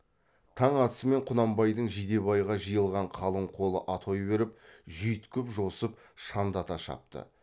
таң атысымен құнанбайдың жидебайға жиылған қалың қолы атой беріп жүйткіп жосып шаңдата шапты